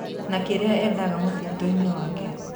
Na kĩrĩa endaga mũtitũinĩ wake.